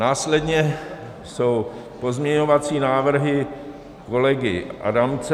Následně jsou pozměňovací návrhy kolegy Adamce.